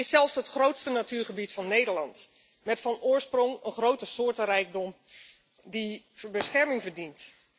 Ze is zelfs het grootste natuurgebied van Nederland, met van oorsprong een grote soortenrijkdom die bescherming verdient.